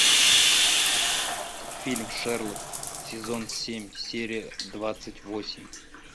фильм шерлок сезон семь серия двадцать восемь